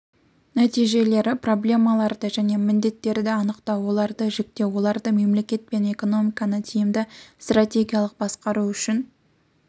нәтижелері проблемаларды және міндеттерді анықтау оларды жіктеу оларды мемлекет пен экономиканы тиімді стратегиялық басқару үшін